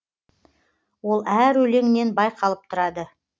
ол әр өлеңінен байқалып тұрады